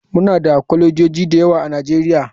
Muna da kwalejoji da yawa a nigeria.